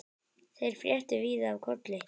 Þeir fréttu víða af Kolli.